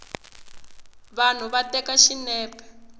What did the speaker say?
vanhu va teka xinepe